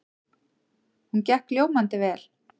Hún gekk ljómandi vel.